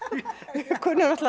við kunnum